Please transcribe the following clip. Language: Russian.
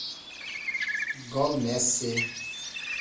гол месси